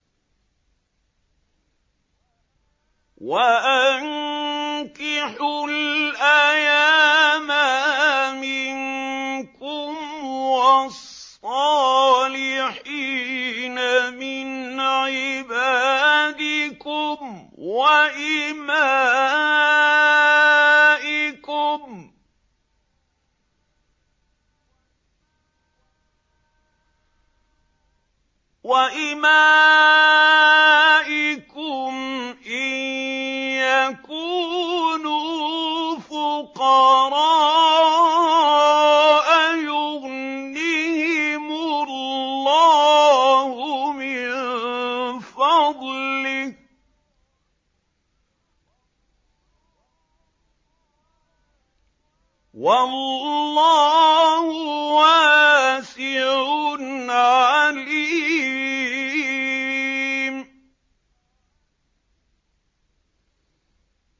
وَأَنكِحُوا الْأَيَامَىٰ مِنكُمْ وَالصَّالِحِينَ مِنْ عِبَادِكُمْ وَإِمَائِكُمْ ۚ إِن يَكُونُوا فُقَرَاءَ يُغْنِهِمُ اللَّهُ مِن فَضْلِهِ ۗ وَاللَّهُ وَاسِعٌ عَلِيمٌ